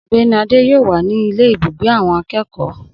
Ogbéni Adé yóò wà ní ile ibùgbé awon akekoo